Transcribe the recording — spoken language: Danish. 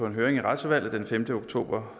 en høring i retsudvalget den femte oktober